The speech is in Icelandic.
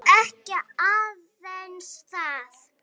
Og ekki aðeins það.